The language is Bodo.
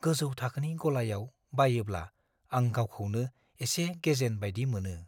गोजौ थाखोनि गलायाव बायोब्ला आं गावखौनो एसे गेजेन बायदि मोनो।